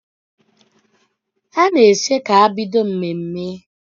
Ha na-eche ka e bido mmemme